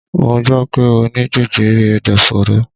Mo gbọ́ pé Ó ní jẹjẹrẹ ẹ̀dọ̀fóró.